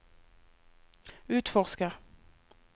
utforsker